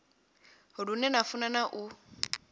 lune na funa na u